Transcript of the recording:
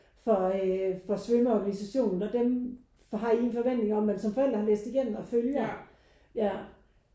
For øh for svømme organisationen når dem har I en forventning om man som forældre har læst igennem og følger ja